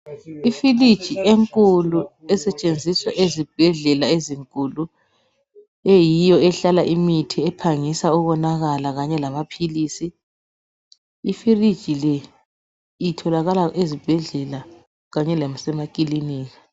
Ifiliji enkulu esetshenziswa ezibhedlela ezinkulu eyiyo ehlala imithi ephangisa ukonakala kanye lamaphilizi. Ifiliji le itholakala ezibhedlela kanye lasemakilinika.